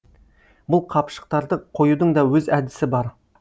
бұл қапшықтарды қоюдың да өз әдісі бар